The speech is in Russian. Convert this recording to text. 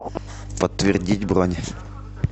подтвердить бронь